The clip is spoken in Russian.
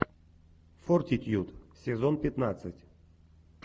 фортитьюд сезон пятнадцать